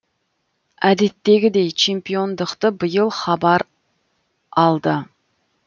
әдеттегідей чемпиондықты биыл хабар алды